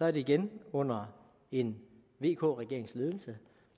er det igen under en vk regerings ledelse